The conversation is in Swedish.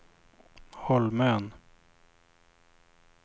Holmön